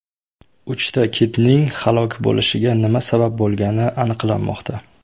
Uchta kitning halok bo‘lishiga nima sabab bo‘lgani aniqlanmoqda.